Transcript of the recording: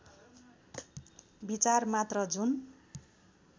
विचार मात्र जुन